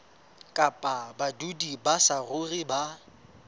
kapa badudi ba saruri ba